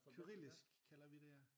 Kyrillisk kalder vi det ja